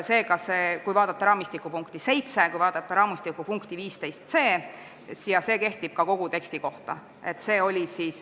Selleks võib vaadata raamistiku punkti 7 ja punkti 15, kuid see kehtib kogu teksti kohta.